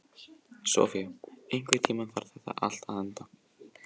Sofía, einhvern tímann þarf allt að taka enda.